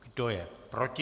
Kdo je proti?